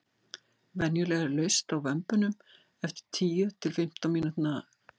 venjulega er laust á vömbunum eftir tíu til fimmtán mínúta